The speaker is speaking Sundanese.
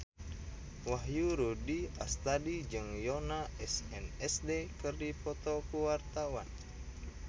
Wahyu Rudi Astadi jeung Yoona SNSD keur dipoto ku wartawan